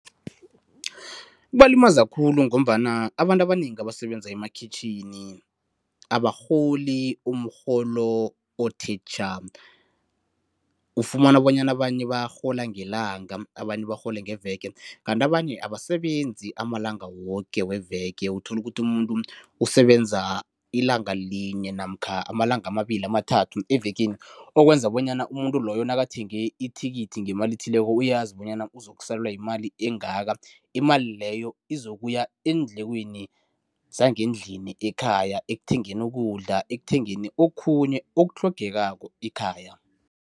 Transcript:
Kubalimaza khulu ngombana abantu abanengi abasebenza emakhitjhini abarholi umrholo othe tjha. Ufumana bonyana abanye barhola ngelanga abanye barhola ngeveke kanti abanye abasebenzi amalanga woke weveke uthola ukuthi umuntu usebenza ilanga linye namkha amalanga amabili, amathathu evekeni. Okwenza bonyana umuntu loyo nakathenge ithikithi ngemali ethileko uyazi bonyana uzokusalelwa yimali engaka, imali leyo izokuya eendlekweni zangendlini ekhaya ekuthengeni ukudla, ekuthengeni okhunye okutlhogekako ekhaya.